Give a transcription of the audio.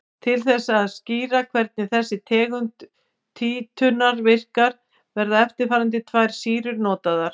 Til þess að skýra hvernig þessi tegund títrunar virkar verða eftirfarandi tvær sýrur notaðar.